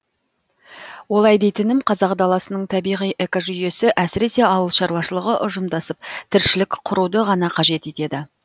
олай дейтінім қазақ даласының табиғи экожүйесі әсіресе ауыл шаруашылығы ұжымдасып тіршілік құруды ғана қажет етеді